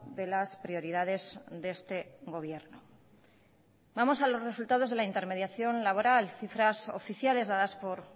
de las prioridades de este gobierno vamos a los resultados de la intermediación laboral cifras oficiales dadas por